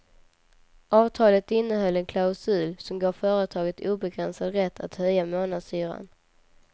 Avtalet innehöll en klausul som gav företaget obegränsad rätt att höja månadshyran.